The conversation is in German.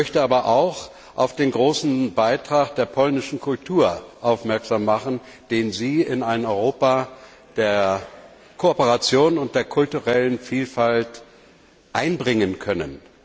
Ich möchte aber auch auf den großen Beitrag der polnischen Kultur aufmerksam machen, den Sie in ein Europa der Kooperation und der kulturellen Vielfalt einbringen können.